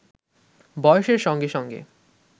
বয়সের সঙ্গে সঙ্গে